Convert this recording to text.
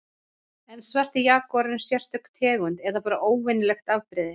Er svarti jagúarinn sérstök tegund eða bara óvenjulegt afbrigði?